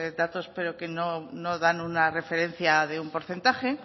datos pero que no dan una referencia de un porcentaje